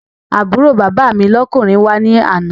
Àbúrò bàbá mi lọ́kùnrin wá ní àná